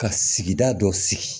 Ka sigida dɔ sigi